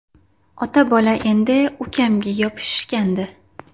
Ota-bola endi ukamga yopishishgandi.